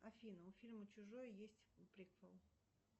афина у фильма чужой есть приквел